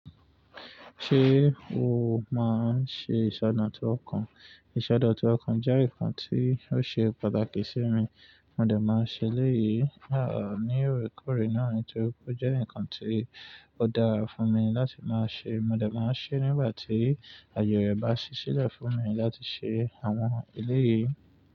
Ṣé o máa ń ṣe ìsọdọ̀tun ọkàn? Ìsọdọ̀tun ọkàn jẹ́ nǹkan tí ó ṣe pàtàkì sí mi, mo dà máa ń ṣe léyìí. À ní orékore náà nitorí pé ó jẹ́ nǹkan tí ó dára fún mi láti máa ṣe. Mo dà máa ń ṣe nígbà tí àjọyọ̀ bá ṣiṣẹ́ lẹ̀ fún mi láti ṣe àwọn èlé yìí.